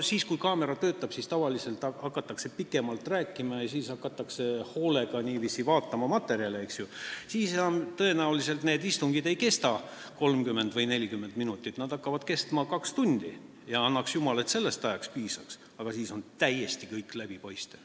Siis, kui kaamera töötab, hakatakse tavaliselt pikemalt rääkima, siis hakatakse hoolega materjale vaatama ja siis tõenäoliselt need istungid ei kesta enam 30 või 40 minutit, nad hakkavad kestma kaks tundi ja annaks jumal, et sellest ajast piisaks, aga siis on kõik täiesti läbipaistev.